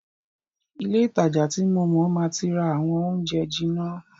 Ilé ìtajà ti mo máa ti rà àwọn oúnjẹ jìnà.